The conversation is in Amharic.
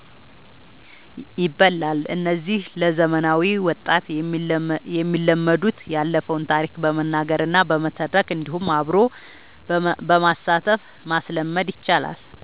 ይባላል። እነዚህ ለዘመናዊ ወጣት የሚለመዱት ያለፈውን ታሪክ በመናገር እና በመተረክ እንዲሁም አብሮ በማሳተፍ ማስለመድ ይቻላል።